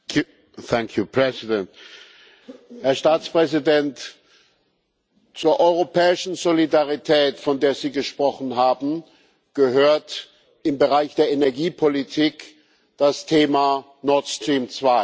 Herr Präsident! Herr Staatspräsident, zur europäischen Solidarität, von der Sie gesprochen haben, gehört im Bereich der Energiepolitik das Thema Nord Stream